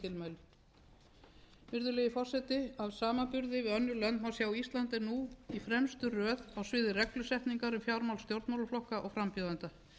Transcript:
um í þessum tilmælum virðulegi forseti af samanburði við önnur lönd má sjá að ísland er nú í fremstu röð á sviði reglusetningar um fjármál stjórnmálaflokka og frambjóðenda